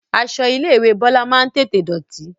Aṣọ ilé ìwé Bọlá máa ń tètè dọ̀tí